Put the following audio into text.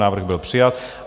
Návrh byl přijat.